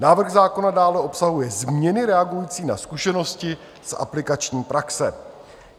Návrh zákona dále obsahuje změny reagující na zkušenosti z aplikační praxe.